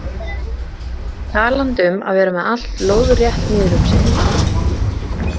Talandi um að vera með allt lóðrétt niður um sig.